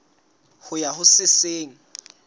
ho ya ho se seng